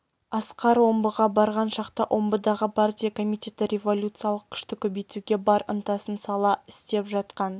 асқар омбыға барған шақта омбыдағы партия комитеті революциялық күшті көбейтуге бар ынтасын сала істеп жатқан